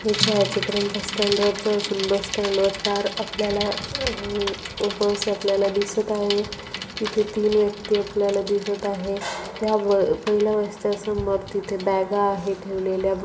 हे छायाचित्रण बस स्टँडच असून बस स्टँडवरचा आपल्याला ओ बस आपल्याला दिसत आहे तिथे तीन व्यक्ती आपल्याला दिसत आहेत या पहिल्या बसच्यावरती तिथे बॅगा आहेत ठेवलेल्या.